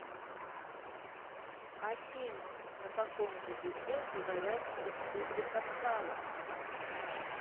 афина на каком языке говорят в республика сало